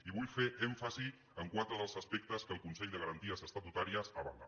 i vull fer èmfasi en quatre dels aspectes que el consell de garanties estatutàries avala